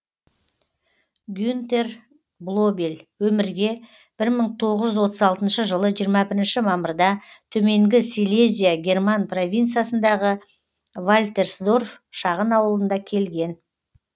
гюнтер блобель өмірге бір мың тоғыз жүз отыз алтыншы жылы жиырма бірінші мамырда төменгі силезия герман провинциясындағы вальтерсдорф шағын ауылында келген